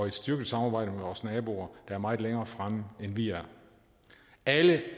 et styrket samarbejde med vores naboer er meget længere fremme end vi er alle